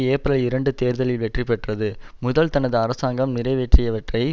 ஏப்பிரல் இரண்டு தேர்தலில் வெற்றி பெற்றது முதல் தனது அரசாங்கம் நிறைவேற்றியவற்றை